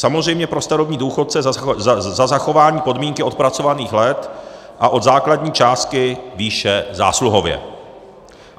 Samozřejmě pro starobní důchodce za zachování podmínky odpracovaných let a od základní částky výše zásluhově.